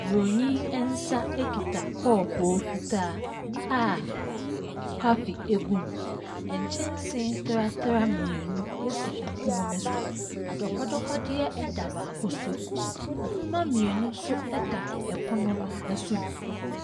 Buroni nsa kita kɔɔpoo fitaa a coffee gu mu. Nkyɛnse tratra mmienu si pono no so. Adɔkɔdɔkɔdeɛ da baako so. Nhoma mmienu nso da pono no so bi.